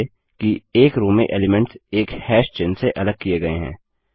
ध्यान दीजिये कि एक रो में एलीमेंट्स एक हैश चिह्न से अलग किये गये हैं